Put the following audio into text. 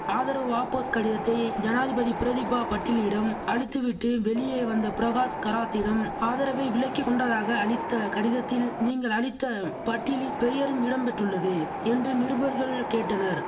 ஆதரவு வாபஸ் கடிதத்தை ஜனாதிபதி பிரதிபா பட்டிலிடம் அளித்துவிட்டு வெளியே வந்த பிரகாஷ் கராத்திடம் ஆதரவை விலக்கி கொண்டதாக அளித்த கடிதத்தில் நீங்கள் அளித்த பட்டியலில் பெயரும் இடம் பெற்றுள்ளது என்று நிருபர்கள் கேட்டனர்